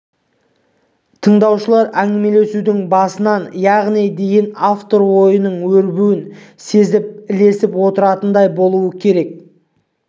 тыңдаушылар әңгімелесудің басынан аяғына дейін автор ойының өрбуін сезіп ілесіп отыратындай болуы керек